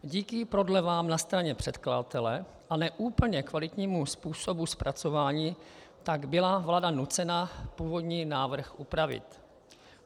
Díky prodlevám na straně předkladatele a ne úplně kvalitnímu způsobu zpracování tak byla vláda nucena původní návrh upravit.